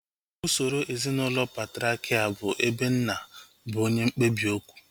Usoro ezinaụlọ patriakial bụ ebe nna bụ onye mkpebi okwu